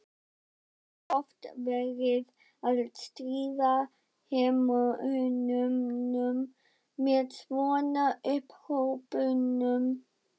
Það var oft verið að stríða hermönnunum með svona upphrópunum.